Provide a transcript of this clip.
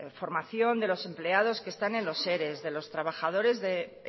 formación de los empleados que están en los ere de los trabajadores de